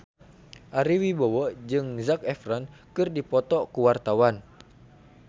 Ari Wibowo jeung Zac Efron keur dipoto ku wartawan